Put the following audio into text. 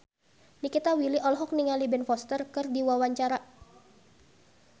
Nikita Willy olohok ningali Ben Foster keur diwawancara